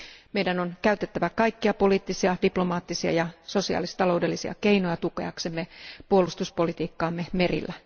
Meidän on käytettävä kaikkia poliittisia, diplomaattisia ja sosiaalis taloudellisia keinoja tukeaksemme puolustuspolitiikkaamme merillä.